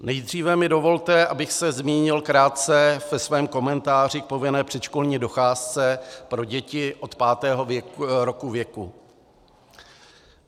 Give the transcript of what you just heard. Nejdříve mi dovolte, abych se zmínil krátce ve svém komentáři k povinné předškolní docházce pro děti od pátého roku věku.